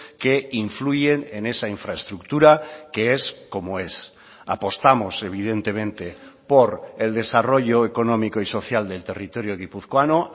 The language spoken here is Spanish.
que influyen en esa infraestructura que es como es apostamos evidentemente por el desarrollo económico y social del territorio guipuzcoano